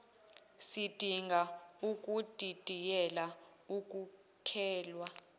sidinga ukudidiyela ukuhlelwa